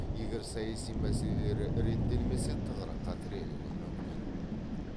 егер саяси мәселелері реттелмесе тығырыққа тірелуі мүмкін